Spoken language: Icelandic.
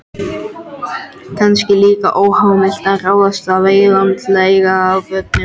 Kannski líka óheimilt að ráðstafa eignum til eins af börnunum